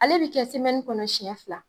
Ale bi kɛ kɔnɔ siɲɛ fila.